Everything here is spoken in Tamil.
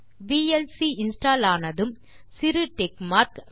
விஎல்சி இன்ஸ்டால் ஆனதும் சிறு டிக் மார்க்